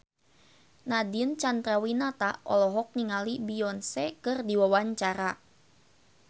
Nadine Chandrawinata olohok ningali Beyonce keur diwawancara